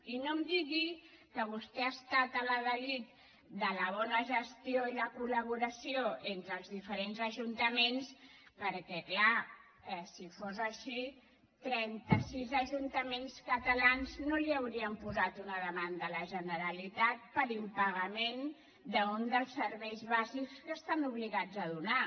i no em digui que vostè ha estat l’ adalid de la bona gestió i la colperquè és clar si fos així trenta sis ajuntaments catalans no li haurien posat una demanda a la generalitat per impagament d’un dels serveis bàsics que estan obligats a donar